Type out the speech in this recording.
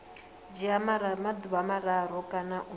dzhia maḓuvha mararu kana u